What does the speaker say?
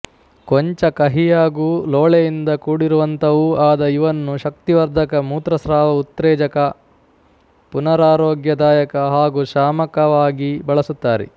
ಕೊಂಚ ಕಹಿಯಾಗೂ ಲೋಳೆಯಿಂದ ಕೂಡಿರುವಂಥವೂ ಆದ ಇವನ್ನು ಶಕ್ತಿವರ್ಧಕ ಮೂತ್ರಸ್ರಾವ ಉತ್ತೇಜಕ ಪುನರಾರೋಗ್ಯದಾಯಕ ಹಾಗೂ ಶಾಮಕವಾಗಿ ಬಳಸುತ್ತಾರೆ